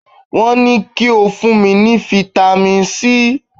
Wón ní ko fún mi ní Fitami C!